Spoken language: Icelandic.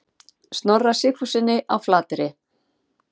Snorra Sigfússyni á Flateyri.